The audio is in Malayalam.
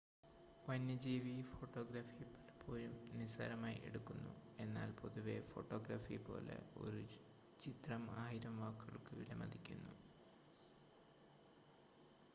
വന്യജീവി ഫോട്ടോഗ്രാഫി പലപ്പോഴും നിസ്സാരമായി എടുക്കുന്നു എന്നാൽ പൊതുവെ ഫോട്ടോഗ്രാഫി പോലെ ഒരു ചിത്രം ആയിരം വാക്കുകൾക്ക് വിലമതിക്കുന്നു